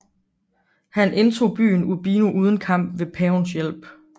Han indtog byen Urbino uden kamp ved Pavens hjælp